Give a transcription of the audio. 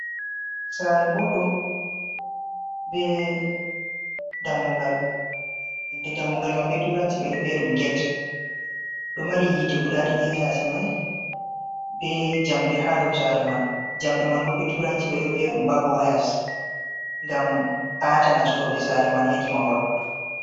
Sare boddum be dammugal inde damugal man be turanci be do viya dum get do mari hite gudadidi hayasi mai be jamde ha do sare man jamde man bo be turanci be do viya dum babu wayas gam atanastobe sare man hedi mahol.